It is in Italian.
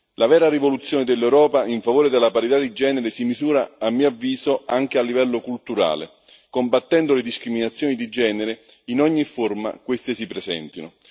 La vera rivoluzione dell'Europa in favore della parità di genere si misura, a mio avviso, anche a livello culturale, combattendo le discriminazioni di genere in ogni forma queste si presentino.